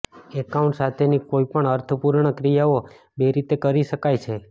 account સાથેની કોઈપણ અર્થપૂર્ણ ક્રિયાઓ બે રીતે કરી શકાય છે